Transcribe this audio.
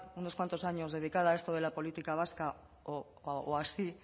unos cuantos años dedicada a esto de la política vasca o así